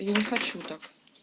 я не хочу так